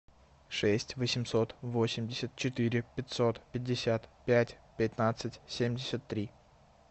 шесть восемьсот восемьдесят четыре пятьсот пятьдесят пять пятнадцать семьдесят три